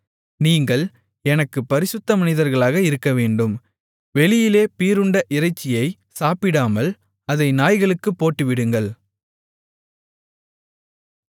நீங்கள் எனக்குப் பரிசுத்த மனிதர்களாக இருக்கவேண்டும் வெளியிலே பீறுண்ட இறைச்சியைச் சாப்பிடாமல் அதை நாய்களுக்குப் போட்டுவிடுங்கள்